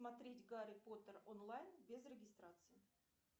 смотреть гарри поттер онлайн без регистрации